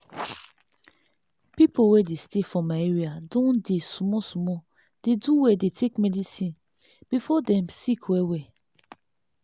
people wey dey stay for my area don dey small small dey do well dey take medicine before dem sick well well